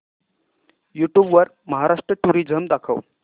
YouTube वर Maharashtra tourism दाखव